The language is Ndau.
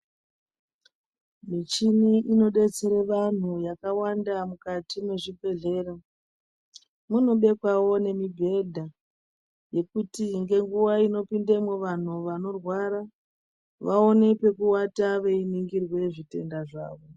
Michini inodetsera antu yakawanda mukati mezvibhedhlera inobekwawo mibhedha yekuti ngenguwa inopindamo vantu vanorwara vaone pekuwata veiningirwa zvitenda zvawo.